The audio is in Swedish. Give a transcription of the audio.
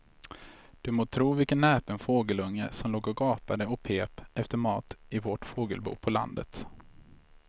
Du må tro vilken näpen fågelunge som låg och gapade och pep efter mat i vårt fågelbo på landet.